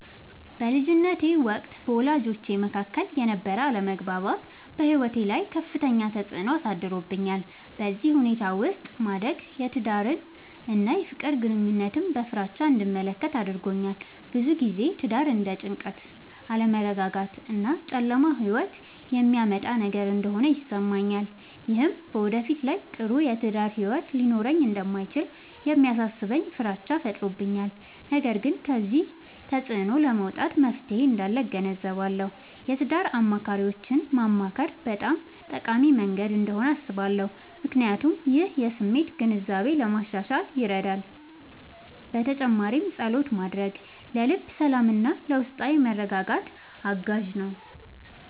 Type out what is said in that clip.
በልጅነቴ ወቅት በወላጆቼ መካከል የነበረ አለመግባባት በሕይወቴ ላይ ከፍተኛ ተፅዕኖ አሳድሮብኛል። በዚህ ሁኔታ ውስጥ ማደግ የትዳርን እና የፍቅር ግንኙነትን በፍራቻ እንድመለከት አድርጎኛል። ብዙ ጊዜ ትዳር እንደ ጭንቀት፣ አለመረጋጋት እና ጨለማ ሕይወት የሚያመጣ ነገር እንደሆነ ይሰማኛል። ይህም በወደፊት ላይ ጥሩ የትዳር ሕይወት ሊኖረኝ እንደማይችል የሚያሳስበኝ ፍራቻ ፈጥሮብኛል። ነገር ግን ከዚህ ተፅዕኖ ለመውጣት መፍትሔ እንዳለ እገነዘባለሁ። የትዳር አማካሪዎችን ማማከር በጣም ጠቃሚ መንገድ እንደሆነ አስባለሁ፣ ምክንያቱም ይህ የስሜት ግንዛቤን ለማሻሻል ይረዳል። በተጨማሪም ፀሎት ማድረግ ለልብ ሰላምና ለውስጣዊ መረጋጋት አጋዥ ነው።